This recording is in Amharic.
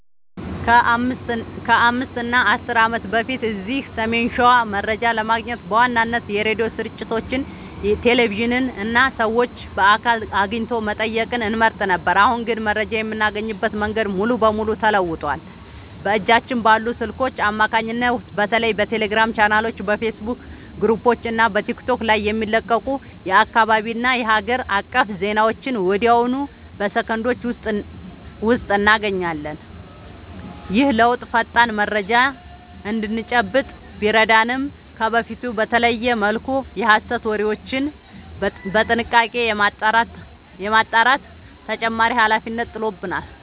ከ5 እና 10 ዓመት በፊት እዚህ ሰሜን ሸዋ መረጃ ለማግኘት በዋናነት የሬዲዮ ስርጭቶችን፣ ቴሌቪዥንን እና ሰዎችን በአካል አግኝቶ መጠየቅን እንመርጥ ነበር። አሁን ግን መረጃ የምናገኝበት መንገድ ሙሉ በሙሉ ተለውጧል። በእጃችን ባሉ ስልኮች አማካኝነት በተለይ በቴሌግራም ቻናሎች፣ በፌስቡክ ግሩፖች እና በቲክቶክ ላይ የሚለቀቁ የአካባቢና የሀገር አቀፍ ዜናዎችን ወዲያውኑ በሰከንዶች ውስጥ እናገኛለን። ይህ ለውጥ ፈጣን መረጃ እንድንጨብጥ ቢረዳንም፣ ከበፊቱ በተለየ መልኩ የሐሰት ወሬዎችን በጥንቃቄ የማጣራት ተጨማሪ ኃላፊነት ጥሎብናል።